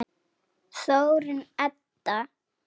Þórunn Edda.